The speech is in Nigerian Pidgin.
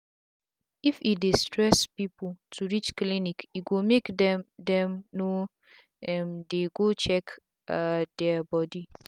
if e dey stress pipu to reach clinic e go make dem dem no um dey go check um dia bodi